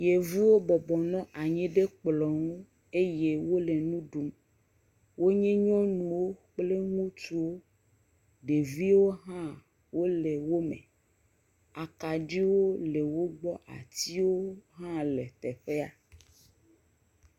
Yevuwo bɔbɔ nɔ anyi ɖe kplɔ̃ ŋu eye wole nu ɖum. Wonye nyɔnuwo kple ŋutsuwo. Ɖeviwo hã wole eme. Akaɖiwo le wogbɔ, atiwo hã le teƒea.